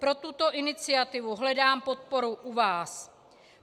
Pro tuto iniciativu hledám podporu u vás.